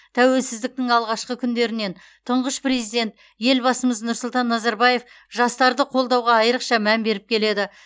тәуелсіздіктің алғашқы күндерінен тұңғыш президент елбасымыз нұрсұлтан назарбаев жастарды қолдауға айырықша мән беріп келеді